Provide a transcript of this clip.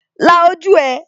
La ojú rẹ